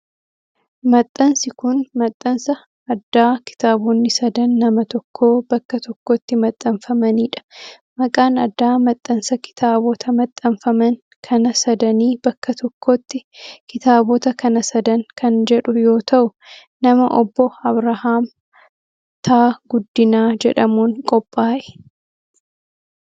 Maxxansi kun, maxxansa addaa kitaabonni sadan nama tokkoo bakka tokkotti maxxanfamanii dha. Maqaan addaa maxxansa kitaabota maxxanfaman kana sadanii bakka tokkotti kitaabota kana sadan kan jedhu yoo ta'u, nama Obboo Abrahaam T. Guddinaa jedhamuun qophaa'e.